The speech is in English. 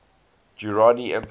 durrani empire